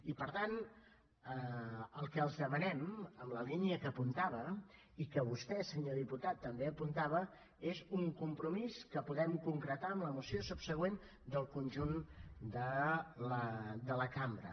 i per tant el que els demanem en la línia que apuntava i que vostè senyor diputat també apuntava és un compromís que podem concretar amb la moció subsegüent del conjunt de la cambra